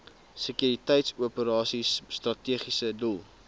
sekuriteitsoperasies strategiese doel